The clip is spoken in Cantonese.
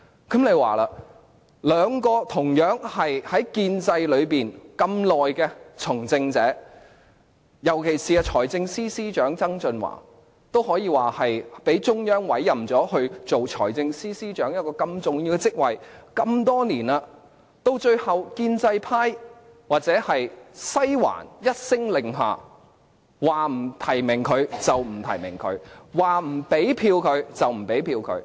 這兩名從政者均在建制派內那麼長的時間，尤其是財政司司長曾俊華，他可說是被中央委任，擔任財政司司長如此重要的職位多年，然而，最後建制派或西環一聲令下，說不提名他就不提名他，說不給他票就不給他票。